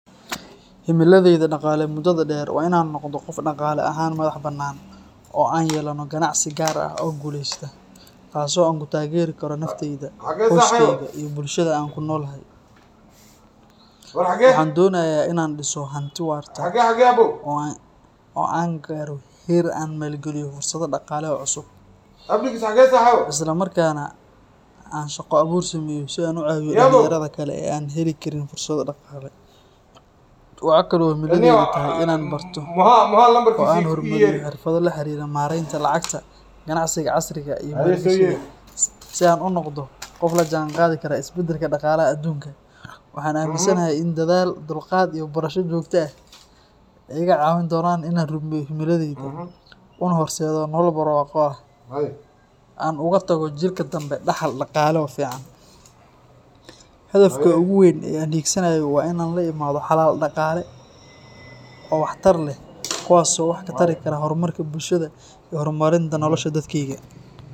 Himiladayda dhaqaale muddada dheer waa in aan noqdo qof dhaqaale ahaan madax-bannaan, oo aan yeelano ganacsi gaar ah oo guuleysta, kaas oo aan ku taageeri karo naftayda, qoyskeyga, iyo bulshada aan ku noolahay. Waxaan doonayaa in aan dhiso hanti waarta oo aan gaadho heer aan ku maalgeliyo fursado dhaqaale oo cusub, isla markaana aan shaqo abuur sameeyo si aan u caawiyo dhalinyarada kale ee aan heli karin fursado dhaqaale. Waxa kale oo himiladaydu tahay in aan barto oo aan horumariyo xirfado la xiriira maaraynta lacagta, ganacsiga casriga ah, iyo maalgashiga si aan u noqdo qof la jaanqaadi kara isbedelka dhaqaalaha adduunka. Waxaan aaminsanahay in dadaal, dulqaad, iyo barasho joogto ah ay iga caawin doonaan in aan rumeeyo himiladayda, una horseedo nolol barwaaqo ah oo aan uga tago jiilka dambe dhaxal dhaqaale oo fiican. Hadafka ugu weyn ee aan hiigsanayo waa in aan la imaado xalal dhaqaale oo waxtar leh, kuwaas oo wax ka tari kara horumarka bulshada iyo horumarinta nolosha dadkayga.